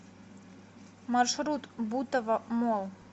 маршрут бутово молл